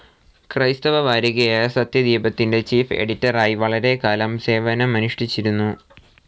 ക്രൈസ്തവ വാരികയായ സത്യദീപത്തിന്റെ ചീഫ്‌ എഡിറ്ററായി വളരെക്കാലം സേവനമനുഷ്ഠിച്ചിരുന്നു.